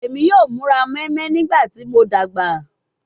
Emi yoo mura moinmoin nigbati mo dagba